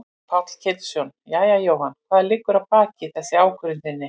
Páll Ketilsson: Jæja Jóhann hvað liggur að baki þessari ákvörðun þinni?